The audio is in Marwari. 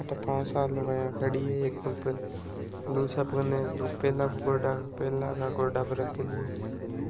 अठे पांच सात लुगाया खड़ी है एक पग पर है दूसरा पग ने पहला गोडा पहला के गोडा पर रखेली है